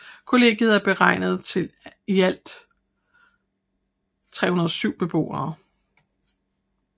Kollegiet er beregnet til i alt 307 beboere